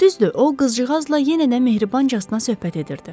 Düzdür, o qızcığazla yenə də mehribancasına söhbət edirdi.